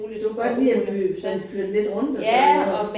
Du kan godt lide at sådan flytte lidt rundt og sådan noget